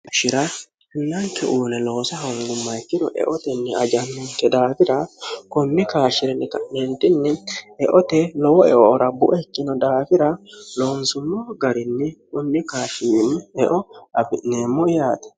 ashira hinnanke uune loose hongumma ikiro eotenni ajannanke daafira kummi kaashi'rinni ka'neentinni eote lowo eo rabbuekkino daafira loonsummo garinni kummi kashir eo abi'neemmo yaate